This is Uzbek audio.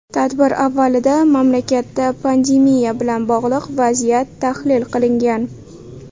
Tadbir avvalida mamlakatda pandemiya bilan bog‘liq vaziyat tahlil qilingan.